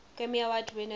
grammy award winners